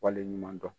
Waleɲuman dɔn